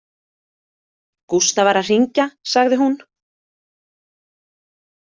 Gústa var að hringja, sagði hún.